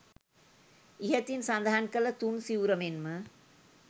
ඉහතින් සඳහන් කළ තුන් සිවුර මෙන් ම